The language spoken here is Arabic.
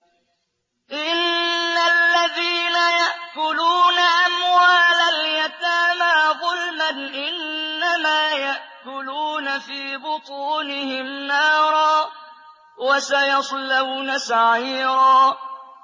إِنَّ الَّذِينَ يَأْكُلُونَ أَمْوَالَ الْيَتَامَىٰ ظُلْمًا إِنَّمَا يَأْكُلُونَ فِي بُطُونِهِمْ نَارًا ۖ وَسَيَصْلَوْنَ سَعِيرًا